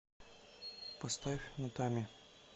поставь натами